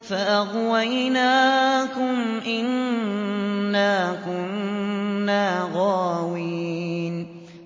فَأَغْوَيْنَاكُمْ إِنَّا كُنَّا غَاوِينَ